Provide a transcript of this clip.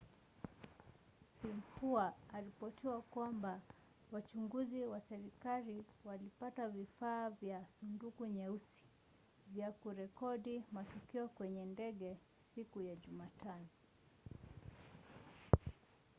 xinhua aliripoti kwamba wachunguzi wa serikali walipata vifaa vya 'sanduku nyeusi' vya kurekodi matukio kwenye ndege siku ya jumatano